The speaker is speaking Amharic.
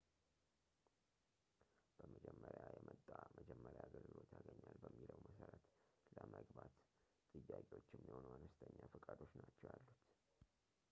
በመጀመሪያ የመጣ መጀመሪያ አገልግሎት ያገኛል በሚለው መሠረት ለመግባት ጥያቄዎች የሚሆኑ አነስተኛ ፈቃዶች ናቸው ያሉት